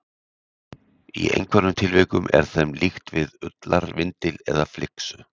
Í einhverjum tilvikum er þeim líkt við ullarvindil eða flyksu.